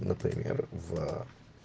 например в